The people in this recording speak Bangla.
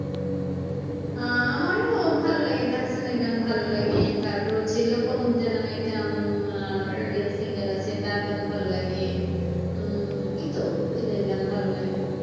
আহ আমারও ভালো লাগে আসলে গান ভালো লাগে তারপরে লোপা মুদ্রা নামে একটা উম Indian singer আছে তার গান ভালো লাগে উম এইতো এদের গান ভালো লাগে।